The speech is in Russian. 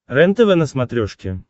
рентв на смотрешке